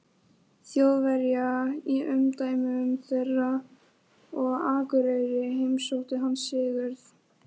Þjóðverja í umdæmum þeirra, og á Akureyri heimsótti hann Sigurð